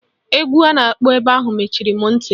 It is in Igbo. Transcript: Egwu a na-akpọ ebe ahụ mechiri m ntị